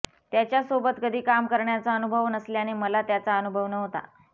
त्याच्यासोबत कधी काम करण्याचा अनुभव नसल्याने मला त्याचा अनुभव नव्हता